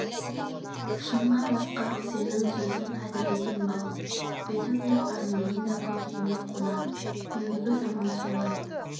шынға бақсақ сенің сөзің әділ екен балам бетің де арманың да көкейіме қонады ендігі заман солай